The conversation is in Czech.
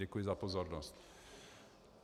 Děkuji za pozornost.